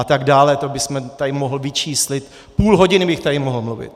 A tak dále, to bych tady mohl vyčíslit, půl hodiny bych tady mohl mluvit.